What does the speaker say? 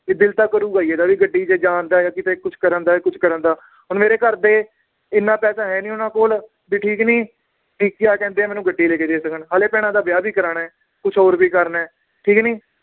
ਕਿ ਦਿਲ ਤਾਂ ਕਰੂਗਾ ਹੀ ਇਹਦਾ ਵੀ ਗੱਡੀ ਚ ਜਾਨ ਦਾ ਜਾਂ ਕਿਤੇ ਕੁਛ ਕਰਨ ਦਾ ਜਾਂ ਕੁਛ ਕਰਨ ਦਾ, ਹੁਣ ਮੇਰੇ ਘਰਦੇ ਇਹਨਾਂ ਪੈਸੇ ਹੈ ਨੀ ਉਹਨਾਂ ਕੋਲ ਵੀ ਠੀਕ ਨੀ ਕਹਿੰਦੇ ਆ ਮੈਨੂੰ ਗੱਡੀ ਲੈਕੇ ਦੇ ਸਕਣ ਹਾਲੇ ਭੈਣਾਂ ਦਾ ਵਿਆਹ ਵੀ ਕਰਾਨਾ ਏ ਕੁਛ ਹੋਰ ਵੀ ਕਰਨਾ ਏ ਠੀਕ ਨੀ